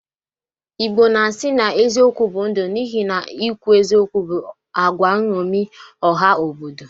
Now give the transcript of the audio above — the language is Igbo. Igbo na-asi na eziokwu bụ ndu n'ihi na ikwu eziokwu bụ agwa nṅomi ọha obodo